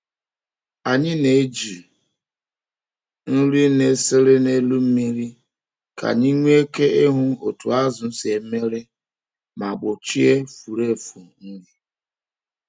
Anyị na-eji nri na-esere n’elu mmiri ka anyị nwee ike ịhụ otu azụ si emere ma gbochie furu efu nri.